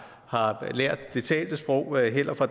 lært det talte sprog heller fra